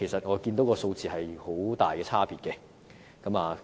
我看到數字有很大差別。